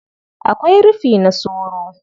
Akwai rufi na soro.